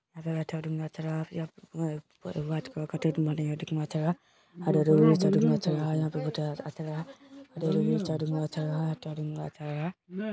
यहां white colour का कितना अच्छा है और अंदर भी घुसा हुआ है और यहां पर अच्छा है अच्छा है अच्छा है।